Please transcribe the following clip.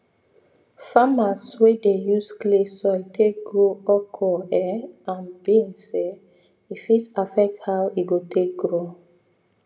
farmers wey dey use clay soil take grow okra um and beans um e fit affect how e go take grow